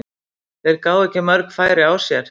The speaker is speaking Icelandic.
Þeir gáfu ekki mörg færi á sér.